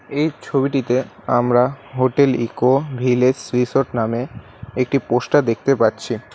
এই ছবিটিতে আমরা হোটেল ইকো ভিলেস রিসোর্ট নামে একটি পোস্টার দেখতে পাচ্ছি।